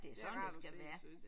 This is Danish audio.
Det er rart at se synes jeg